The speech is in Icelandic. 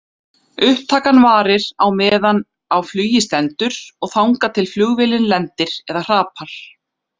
Upptakan varir á meðan á flugi stendur og þangað til flugvélin lendir eða hrapar.